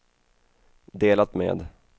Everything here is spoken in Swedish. delat med